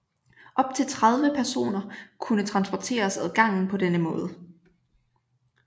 Op til 30 personer kunne transporteres ad gangen på denne måde